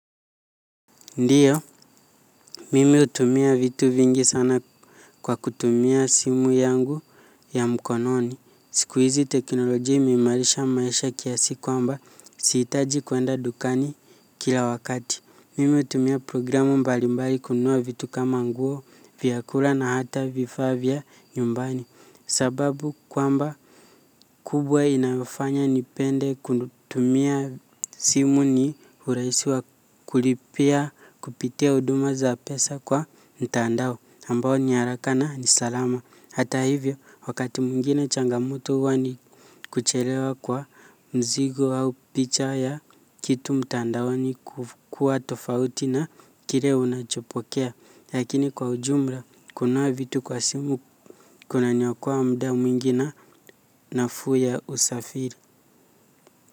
Ndiyo, mimi hutumia vitu vingi sana kwa kutumia simu yangu ya mkononi. Siku hizi teknoloji imeimarisha maisha kiasi kwamba sihitaji kuenda dukani kila wakati. Mimi hutumia programu mbalimbali kununua vitu kama nguo, vyakula na hata vifaa vya nyumbani. Sababu kwamba kubwa inayofanya nipende kutumia simu ni urahisi wa kulipia kupitia uduma za pesa kwa ntandao ambao ni haraka na ni salama. Hata hivyo wakati mwingine changamoto huwa ni kuchelewa kwa mzigo au picha ya kitu mtandaoni kukua tofauti na kile unachopokea lakini kwa ujumla kunao vitu kwa simu kunaniokoa muda mwingi na nafuu ya usafiri.